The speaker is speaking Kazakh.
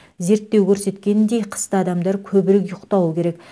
зерттеу көрсеткендей қыста адамдар көбірек ұйықтауы керек